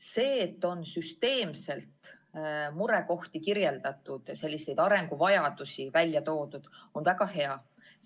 See, et murekohti on süsteemselt kirjeldatud ja arenguvajadusi välja toodud, on väga hea.